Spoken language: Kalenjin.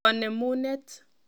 Konemunet.